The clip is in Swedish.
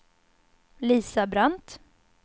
Lisa Brandt